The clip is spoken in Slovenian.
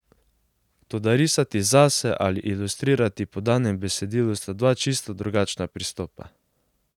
Toda risati zase ali ilustrirati po danem besedilu sta dva čisto drugačna pristopa.